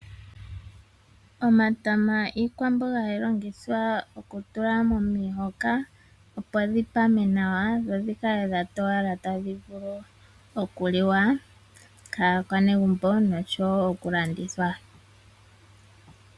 Omatama iikwamboga hayi longithwa okutulwa momahoka, opo dhi pame nawa , dho dhikale dha towala nawa tadhi vulu okuliwa kaakwanegumbo noshowoo okulandithwa.